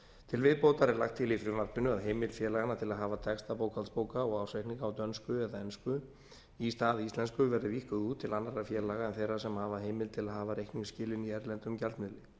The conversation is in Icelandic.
til viðbótar er lagt til í frumvarpinu að heimild félaganna til að hafa texta bókhaldsbóka og ársreikninga á dönsku eða ensku í stað íslensku verði víkkuð út til annarra félaga en þeirra sem hafa heimild til að hafa reikningsskilin í erlendum gjaldmiðli